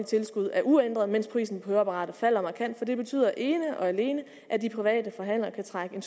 tilskud er uændret mens prisen høreapparater falder markant for det betyder ene og alene at de private forhandlere kan trække